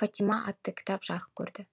фатима атты кітап жарық көрді